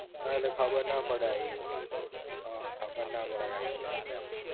હા ઍટલે ખબર ના પડે આઈ જાઇ, હા ખબર ના પડે કે આઈ ગયા આપડે એમ